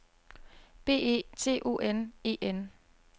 B E T O N E N